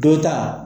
Dɔ ta